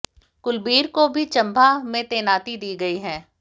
कुलबीर को भी चंबा में तैनाती दी गई है